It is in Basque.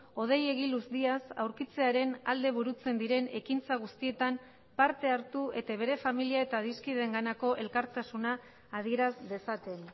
hodei egiluz díaz aurkitzearen alde burutzen diren ekintza guztietan parte hartu eta bere familia eta adiskideenganako elkartasuna adieraz dezaten